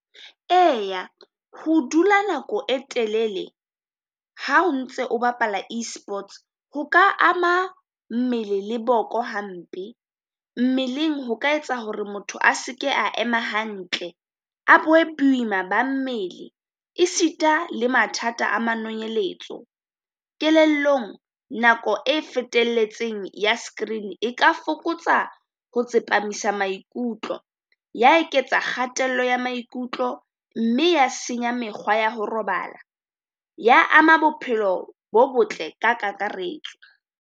Eya ho dula nako e telele ha o ntse o bapala Esports, ho ka ama mmele le boko hampe, mmeleng ho ka etsa hore motho a se ke a ema hantle a bo e boima ba mmele. Esita le mathata a manolonyetso, kelellong nako e fetelletseng ya screen e ka fokotsa ho tsepamisa maikutlo. Ya eketsa kgatello ya maikutlo mme ya senya mekgwa ya ho robala, ya ama bophelo bo botle ka kakaretso.